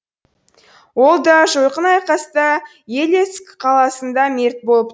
ол да жойқын айқаста елецк қаласында мерт болып